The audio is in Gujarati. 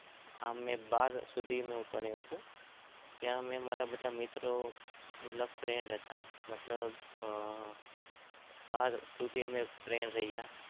બાર સુધી હું ભણ્યો ચુ. મતલબ બધા ફર્દ હતા.